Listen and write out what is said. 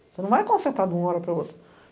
Você não vai consertar de uma hora para a outra.